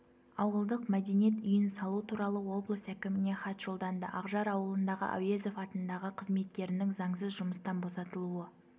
ауылдық мәдениет үйін салу туралы облыс әкіміне хат жолданды ақжар ауылындағы әуезов атындағы қызметкерінің заңсыз жұмыстан босатылуы